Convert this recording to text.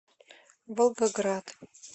волгоград